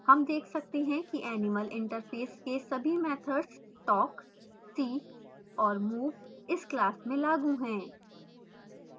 हम देख सकते हैं कि animal interface के सभी मैथड्सtalk see और move इस class में लागू हैं